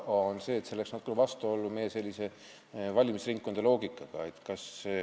See ringkond läheks natuke vastuollu meie valimisringkondade loogikaga.